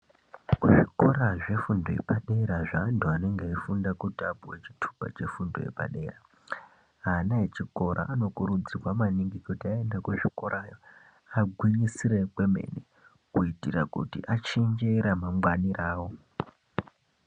Zvikora zvefundo yepadera, zvaantu anenge eifunda kuti apuwe chitupa chepadera, ana echikora anokurudzirwa maningi kuti aenda kuzvikorayo, agwinyisire kwemene kuitira kuti achinje ramangwani rawo.